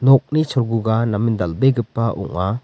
nokni cholguga namen dal·begipa ong·a.